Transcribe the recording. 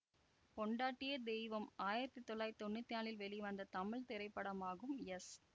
பொண்டாட்டியே தெய்வம் ஆயிரத்தி தொள்ளாயிரத்தி தொன்னூத்தி நாலில் வெளிவந்த தமிழ் திரைப்படமாகும் எஸ்